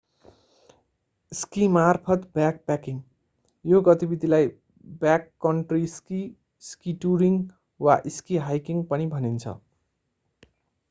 स्कीमार्फत backpacking यो गतिविधिलाई backcountry ski ski touring वा स्की हाइकिङ पनि भनिन्छ